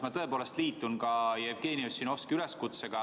Ma liitun Jevgeni Ossinovski üleskutsega.